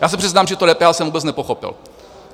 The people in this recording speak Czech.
Já se přiznám, že to DPH jsem vůbec nepochopil.